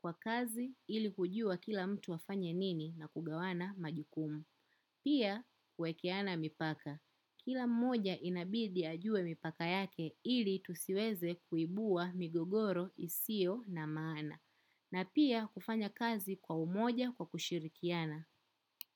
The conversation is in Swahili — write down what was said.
kwa kazi ili kujua kila mtu afanye nini na kugawana majukumu. Pia kuwekeana mipaka. Kila mmoja inabidi ajue mipaka yake ili tusiweze kuibua migogoro isio na maana. Na pia kufanya kazi kwa umoja kwa kushirikiana.